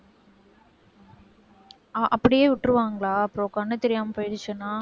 அஹ் அப்படியே விட்டுருவாங்களா அப்புறம் கண்ணு தெரியாம போயிடுச்சுன்னா